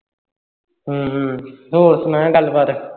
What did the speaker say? ਹੂ ਹੂ ਹੋਰ ਸੁਣਾ ਗੱਲ ਬਾਤ